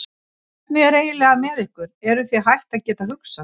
Hvernig er eiginlega með ykkur, eruð þið hætt að geta hugsað?